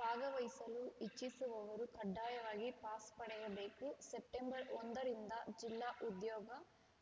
ಭಾಗವಹಿಸಲು ಇಚ್ಛಿಸುವವರು ಕಡ್ಡಾಯವಾಗಿ ಪಾಸ್‌ ಪಡೆಯಬೇಕು ಸೆಪ್ಟೆಂಬರ್‌ ಒಂದರಿಂದ ಜಿಲ್ಲಾ ಉದ್ಯೋಗ